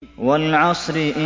وَالْعَصْرِ